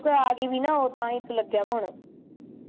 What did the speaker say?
ਤੂੰ ਕੇ ਗਈ ਵੀ ਨਾ ਤਾਂ ਹੀ ਲੱਗਿਆ ਹੋਣਾ